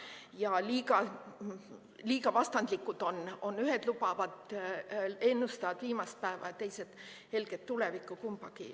Ja on liiga vastandlikud, ühed ennustavad viimsetpäeva, teised helget tulevikku.